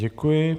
Děkuji.